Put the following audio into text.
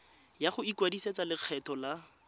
ya go ikwadisetsa lekgetho la